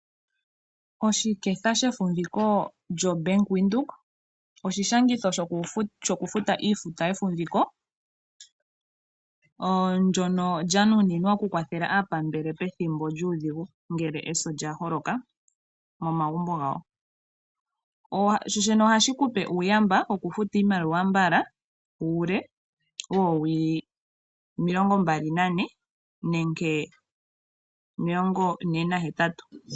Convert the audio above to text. Oshiketha shefumviko shobank Windhoek oshishangitha shoku futa iifuta yefumviko lyono lyanuninwa okukwatha aapambele pethimbo lyudhigu ngele eso lyaholoka mofamili. Ohashi kupe uuyamba wokufuta iimaliwa mbala uule woowili omilongo mbali nane nenge omilongo ne nahetatu.